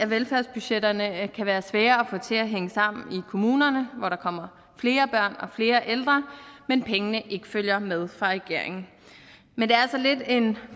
velfærdsbudgetterne kan være svære at få til at hænge sammen i kommunerne hvor der kommer flere børn og flere ældre men pengene ikke følger med fra regeringen men det er så lidt en